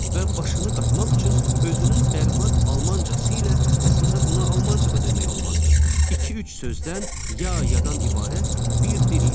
Və başını qatmaq üçün özünün bərbad almancası ilə əslində buna almanca da demək olmazdı. İki-üç sözdən, ya-yadan ibarət bir dil idi.